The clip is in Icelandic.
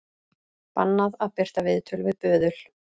Bannað að birta viðtöl við böðul